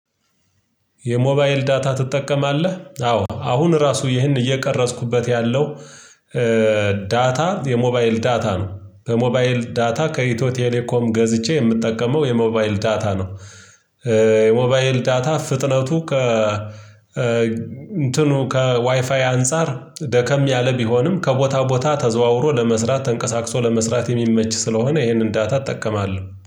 "የሞባይል ዳታ ትጠቀማለህ?" አዎ፤ አሁን ራሱ ይሄን እየቀረጽኩበት ያለው ዳታ የሞባይል ዳታ ነው። በሞባይል ዳታ ከኢትዮቴሌኮም ገዝቼ የምጠቀመው የሞባይል ዳታ ነው። የሞባይል ዳታ ፍጥነቱ ከ እንትኑ ከዋይፋይ አንፃር ደከም ያለ ቢሆንም፤ ከቦታ ቦታ ተዘዋውሮ ለመስራት ተንቀሳቅሶ ለመስራት የሚመች ስለሆነ ይሄንን ዳታ እጠቀማለሁ።